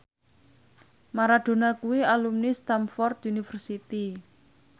Maradona kuwi alumni Stamford University